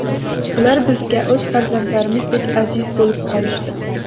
Ular bizga o‘z farzandlarimizdek aziz bo‘lib qolishdi.